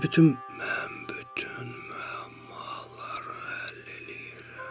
Mən bütün müəmmaları həll eləyirəm.